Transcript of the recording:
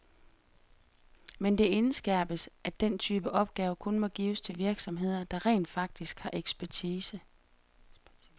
Men det indskærpes, at den type opgaver kun må gives til virksomheder, der rent faktisk har ekspertise.